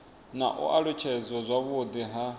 na u alutshedzwa zwavhudi ha